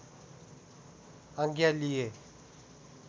आज्ञा लिए